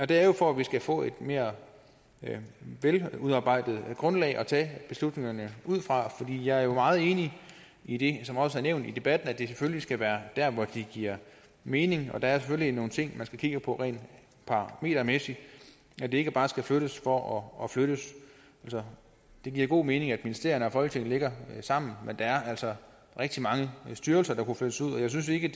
det er jo for at vi skal få et mere veludarbejdet grundlag at tage beslutningerne ud fra jeg er jo meget enig i det som også er nævnt i debatten nemlig at det selvfølgelig skal være der hvor det giver mening og der er selvfølgelig nogle ting man skal kigge på rent parametermæssigt så det ikke bare skal flyttes for at flyttes det giver god mening at ministerierne og folketinget ligger sammen men der er altså rigtig mange styrelser der kunne flyttes ud og jeg synes ikke